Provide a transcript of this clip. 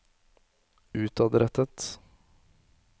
utadrettet